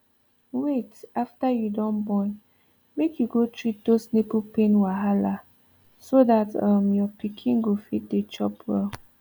wait after you don born make you go treat those nipple pain wahala so that um your pikin go fit dey chop well